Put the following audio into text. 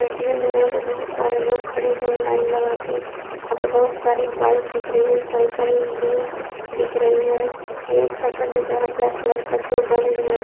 ATM है यहाँ पे बहुत सारे लोग खड़े हुए हैं लाईन लगा के | यहाँ पे बहुत सारी बाइक दिख रही हैं साइकिल भी दिख रही है | एक शटर दिख रहा ब्लैक कलर का जो बंद है।